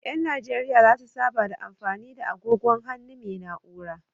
Ƴan najeriya zasu saba da mafani da agogon hannu mai na'ura.